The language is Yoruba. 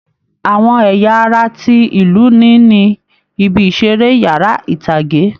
Àwọn ẹ̀yà ara tí ìlú ní ni, ibi ìṣeré, yàrá ìtàgé